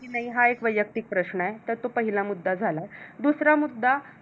कि नाही हा एक वैयक्तिक प्रश्न आहे तर तो पहिला मुद्दा झाला. दुसरा मुद्दा